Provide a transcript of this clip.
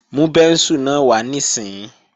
Mú bẹ́ńsù náà wá níìsín!